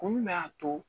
Kun jumɛn y'a to